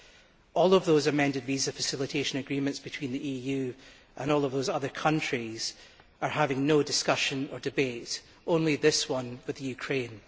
None of those amended visa facilitation agreements between the EU and all of those other countries are to be subject to discussion or debate, only this one with Ukraine.